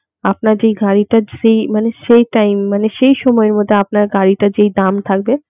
আপনার যেই গাড়িটার সে সেই টাইম মানে সেই সময়ের মধ্যে যে দাম থাকবে